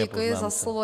Děkuji za slovo.